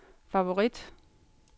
favorit